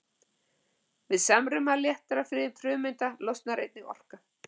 Við samruna léttra frumeinda losnar einnig orka.